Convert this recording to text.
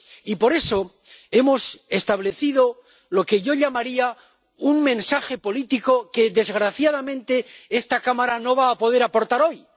Y por eso hemos establecido lo que yo llamaría un mensaje político que, desgraciadamente, esta Cámara no va a poder aportar hoy.